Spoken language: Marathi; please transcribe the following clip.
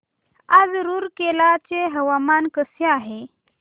आज रूरकेला चे हवामान कसे आहे